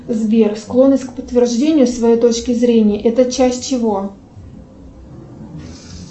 сбер склонность к подтверждению своей точки зрения это часть чего